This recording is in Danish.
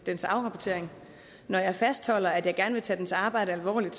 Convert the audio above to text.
dens afrapportering når jeg fastholder at jeg gerne vil tage dens arbejde alvorligt